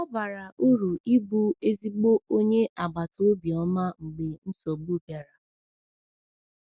Ọ bara uru ịbụ ezigbo onye agbataobi ọma mgbe nsogbu bịara.